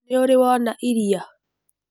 Nĩũrĩ wona iria?